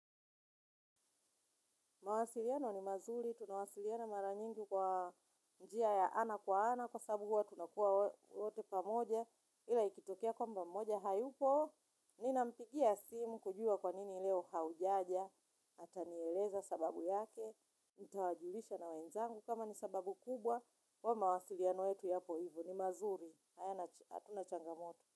Mawasiliano ni mazuri, tunawasiliana mara nyingi kwa njia ya ana kwa ana, kwa sababu huwa tunakua wote pamoja, ila ikitokea kwamba mmoja, hayupo, nina mpigia simu kujua kwa nini leo haujaja, ata nieleza sababu yake, nita wajulisha na wenzangu kama ni sababu kubwa, kwa mawasiliano yetu yapo hivyo ni mazuri, hatuna changamoto.